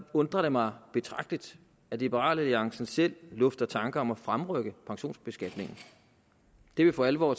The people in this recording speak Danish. undrer det mig betragteligt at liberal alliance selv lufter tanker om at fremrykke pensionsbeskatningen det vil for alvor